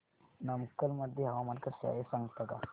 नमक्कल मध्ये हवामान कसे आहे सांगता का